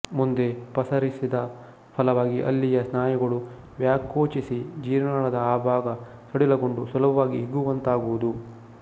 ಮುಂದೆ ಪಸರಿಸಿದ ಫಲವಾಗಿ ಅಲ್ಲಿಯ ಸ್ನಾಯುಗಳು ವ್ಯಾಕೋಚಿಸಿ ಜೀರ್ಣನಾಳದ ಆ ಭಾಗ ಸಡಿಲಗೊಂಡು ಸುಲಭವಾಗಿ ಹಿಗ್ಗುವಂತಾಗುವುದು